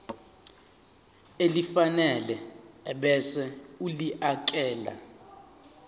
elifanele ebese ulifiakela